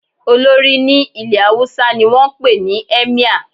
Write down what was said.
Olórí ní ilẹ̀ Haúsá ni wọ́n ń pè ní "Emir"